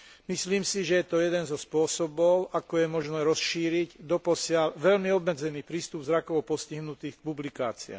Myslím si, že je to jeden zo spôsobov, ako je možné rozšíriť doposiaľ veľmi obmedzený prístup zrakovo postihnutých k publikáciám.